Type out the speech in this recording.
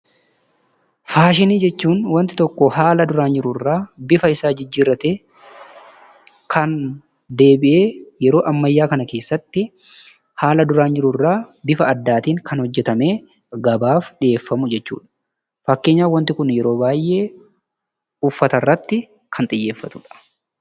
Faashinii jechuun wanti tokko haala duraan jirurraa bifa isaa jijjiirratee kan deebi'ee yeroo ammayyaa kana keessatti haala duraan jirurraa bifa addaatiin kan hojjatamee gabaaf dhiyeeffamu jechuudha. Fakkeenyaaf wanti kun yeroo baayyee uffatarratti kan xiyyeefatu jechuudha.